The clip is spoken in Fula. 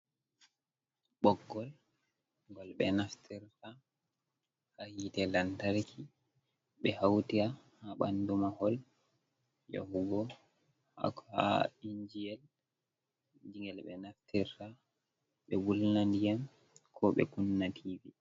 Ɓoggol gol ɓe naftirta ha hite lamtarki ɓe hauti ha bandu mahol yahugo ha injiyel gel ɓe naftirta ɓe wulna diyam ko ɓe kunna tivi.